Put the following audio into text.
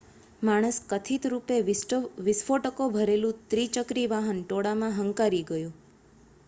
માણસ કથિત રૂપે વિસ્ફોટકો ભરેલું ત્રિચક્રી વાહન ટોળામાં હંકારી ગયો